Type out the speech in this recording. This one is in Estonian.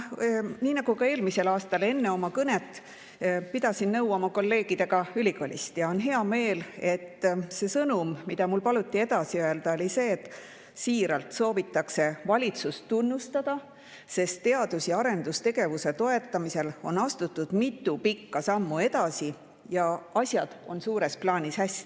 Nii nagu ka eelmisel aastal, pidasin enne oma kõnet nõu kolleegidega ülikoolist ja mul on hea meel, et see sõnum, mida mul paluti edasi öelda, on see, et siiralt soovitakse valitsust tunnustada, sest teadus- ja arendustegevuse toetamisel on astutud mitu pikka sammu edasi ja asjad on suures plaanis hästi.